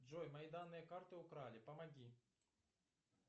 джой мои данные карты украли помоги